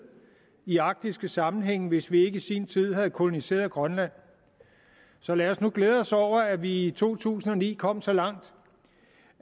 i arktiske sammenhænge hvis vi ikke i sin tid havde koloniseret grønland så lad os nu glæde os over at vi i to tusind og ni kom så langt